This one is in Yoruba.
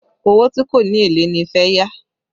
Owó tí kò ní èlé ni fẹ́ yá